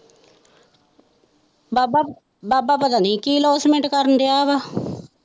ਬਾਬਾ ਬਾਬਾ ਪਤੀ ਨਹੀਂ ਕੀ announcement ਕਰਨ ਦਿਆ ਵਾ।